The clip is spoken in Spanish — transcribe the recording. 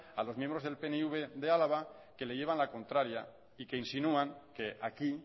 a los miembros del pnv de álava que le llevan la contraria y que insinúan que aquí